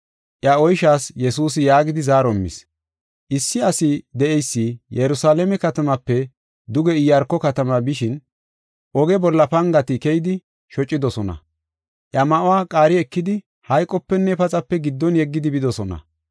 Iya oyshaas Yesuusi yaagidi zaaro immis; “Issi ase de7eysi Yerusalaame katamape duge Iyaarko katama bishin, oge bolla pangati keyidi shocidosona. Iya ma7uwa qaari ekidi hayqopenne paxape giddon yeggidi bidosona.